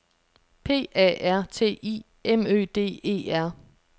P A R T I M Ø D E R